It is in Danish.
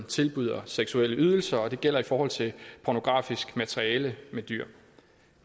tilbydes seksuelle ydelser og det gælder i forhold til pornografisk materiale med dyr